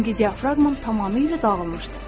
Çünki diafraqmam tamamilə dağılmışdı.